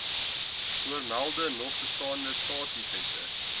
voormelde nogbestaande staatseffekte